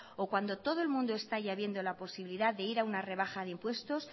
o cuando todo el mundo está ya viendo la posibilidad de ir a una rebaja de impuestos